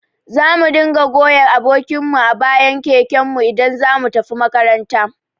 Zamu dinga goya abokin mu a bayan keken mu idan zamu tafi makaranta